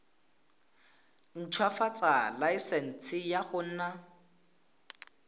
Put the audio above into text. ntshwafatsa laesense ya go nna